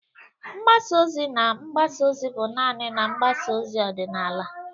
Mgbasa ozi na mgbasa ozi bụ naanị na mgbasa ozi ọdịnala.